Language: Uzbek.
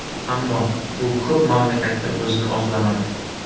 Ammo bu ko‘p mamlakatda o‘zini oqlamadi.